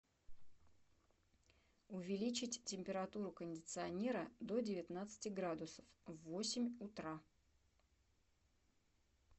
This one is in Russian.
увеличить температуру кондиционера до девятнадцати градусов в восемь утра